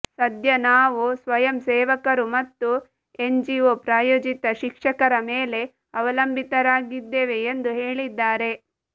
ಸಧ್ಯ ನಾವು ಸ್ವಯಂಸೇವಕರು ಮತ್ತು ಎನ್ಜಿಒ ಪ್ರಾಯೋಜಿತ ಶಿಕ್ಷಕರ ಮೇಲೆ ಅವಲಂಬಿತರಾಗಿದ್ದೇವೆ ಎಂದು ಹೇಳಿದ್ದಾರೆ